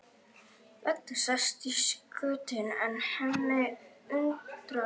Edda sest í skutinn en Hemmi undir árar.